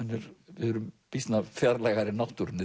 við erum býsna fjarlægari náttúrunni